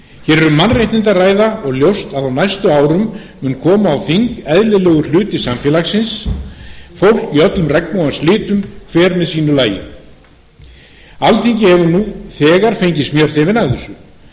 mannréttindi að ræða og ljóst að á næstu árum mun koma á þing eðlilegur hluti samfélagsins fólk í öllum regnbogans litum hver með sínu lagi alþingi hefur nú þegar fengið smjörþefinn af þessu